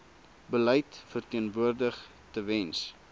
beleid verteenwoordig tewens